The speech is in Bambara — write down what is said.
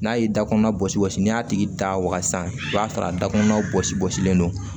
N'a ye dakɔnɔ bɔsi bɔsi n'i y'a tigi da waga sisan i b'a sɔrɔ a dakɔnɔnaw bɔsi gosilen don